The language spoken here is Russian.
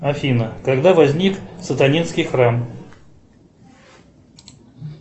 афина когда возник сатанинский храм